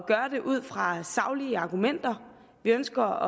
gøre det ud fra saglige argumenter vi ønsker